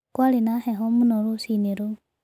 Kwarĩ na heho mũno rũcinĩ rũu.